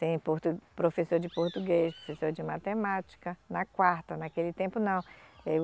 Tem portu, professor de português, professor de matemática, na quarta, naquele tempo não.